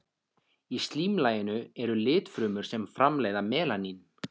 Í slímlaginu eru litfrumur sem framleiða melanín.